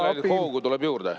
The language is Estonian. No meile tuleb ainult hoogu juurde.